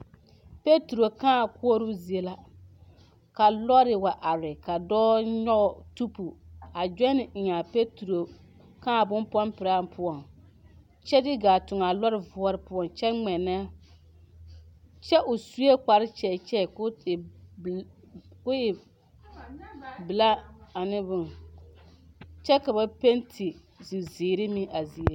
Peturo kãã koɔrɔɔ zie la ka lɔre wa are ka dɔɔ nyɔge tubu a gyɔne eŋ a peturo kãã bon pɔmpiraa poɔŋ kyɛ de gaa tuŋ a lɔre voɔre poɔŋ kyɛ ŋmɛnɛ kyɛ o suee kpare kyagkyag ko e belaa ane bon kyɛ ka ba penti zizeere meŋ a zie.